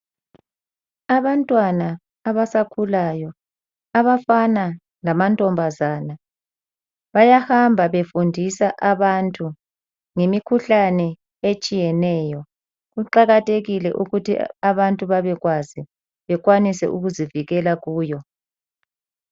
Abantwana abasakhulayo abafana lama ntombazana bayahamba befundisa abantu ngemikhuhlane etshiyeneyo, kuqakathekile ukuthi abantu bebekwazi bekwanise ukuzivikela kuyo.